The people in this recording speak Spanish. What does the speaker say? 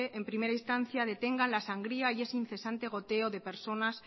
en primera instancia detengan la sangría y ese incesante goteo de personas